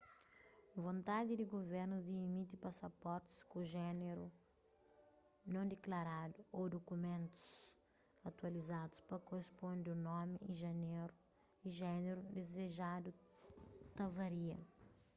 vontadi di guvernus di imiti pasaportis ku jéneru non diklaradu x ô dukumentus atualizadus pa korisponde un nomi y jéneru dizejadu ta varia